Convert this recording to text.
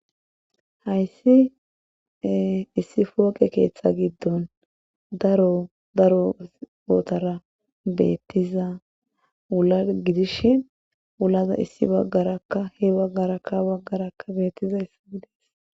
Hayssi ee issi pooqe keetha gidddon daro daro xootara beetiza wula gidishin wulaza issi baggarakka he baggarakka ha baggarakka beetizayssi